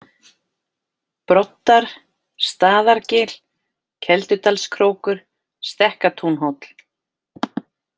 Broddar, Staðargil, Keldudalskrókur, Stekkatúnhóll